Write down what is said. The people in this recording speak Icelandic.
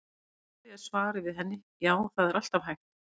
Í stuttu máli er svarið við henni: Já, það er alltaf hægt.